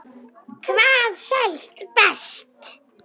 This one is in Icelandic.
Hvað selst best?